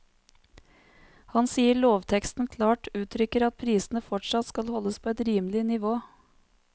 Han sier lovteksten klart uttrykker at prisene fortsatt skal holdes på et rimelig nivå.